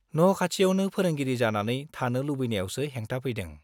न' खाथियावनो फोरोंगिरि जानानै थानो लुबैनायावसो हेंथा फैदों।